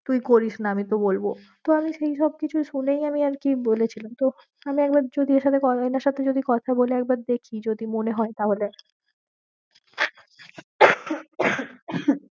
তুই করিস না আমি তো বলবো তো আমি সেই সব কিছু শুনেই আমি আর কি বলেছিলাম তো আমি একবার যদি এর সাথে সাথে যদি কথা বলে একবার দেখি যদি মনে হয়ে তাহলে